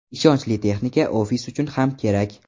Ishonchli texnika ofis uchun ham kerak.